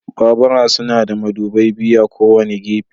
Babura suna da madubai biyu a kowane gefe.